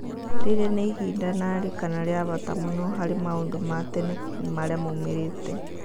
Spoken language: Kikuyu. rĩrĩa nĩ ĩhinda narĩ kana rĩa bata mũno harĩ maũndu ma tene ma rĩa maũmirite